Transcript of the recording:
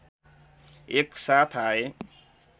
एकसाथ आए